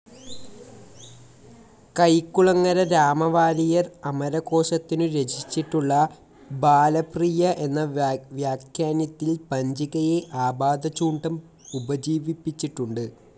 കൈക്കുളങ്ങര രാമവാരിയർ അമരകോശത്തിനു രചിച്ചിട്ടുള്ള ബാലപ്രിയ എന്ന വ്യാഖ്യാനത്തിൽ പഞ്ചികയെ ആപാദചൂഡം ഉപജീവിച്ചിട്ടുണ്ടു്.